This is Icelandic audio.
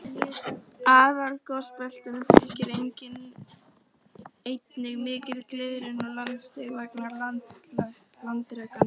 Aðalgosbeltunum fylgir einnig mikil gliðnun og landsig vegna landreksins.